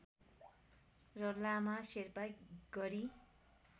र लामा शेर्पा गरी